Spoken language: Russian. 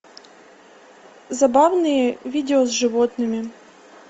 забавные видео с животными